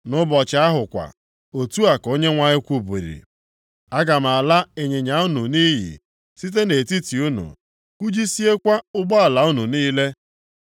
“Nʼụbọchị ahụ kwa,” otu a ka Onyenwe anyị kwubiri, “Aga m ala ịnyịnya unu nʼiyi site nʼetiti unu, kụjisiekwa ụgbọala unu niile.